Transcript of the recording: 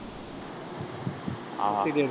ஆஹ் அஹ்